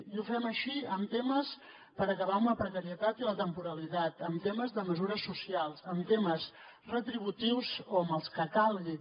i ho fem així amb temes per acabar amb la precarietat i la temporalitat amb temes de mesures socials amb temes retributius o amb els que calgui